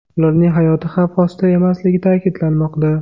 Ularning hayoti xavf ostida emasligi ta’kidlanmoqda.